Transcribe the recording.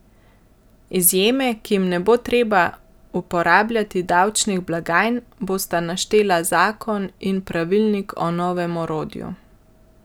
Izjeme, ki jim ne bo treba uporabljati davčnih blagajn, bosta naštela zakon in pravilnik o novem orodju.